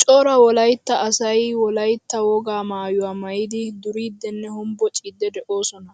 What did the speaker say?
Cora wolaytta asay wolaytta wogaa maayuwaa maayidi duridinne hombboccidi deosona.